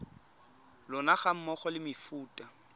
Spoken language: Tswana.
lona ga mmogo le mefuta